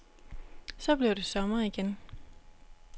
Så blev det sommer igen.